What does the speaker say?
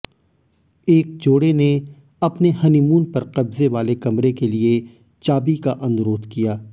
एक जोड़े ने अपने हनीमून पर कब्जे वाले कमरे के लिए चाबी का अनुरोध किया